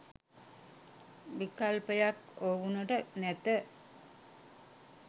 විකල්පයක් ඔවුනට නැත